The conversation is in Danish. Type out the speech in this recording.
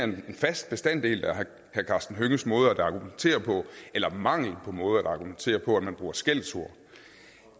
en fast bestanddel af herre karsten hønges måde at argumentere på eller mangel på måde at argumentere på at bruge skældsord